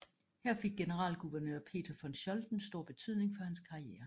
Her fik generalguvernør Peter von Scholten stor betydning for hans karriere